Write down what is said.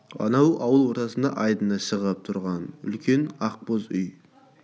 анау ауыл ортасында айдыны шығып тұрған үлкен ақ боз үйі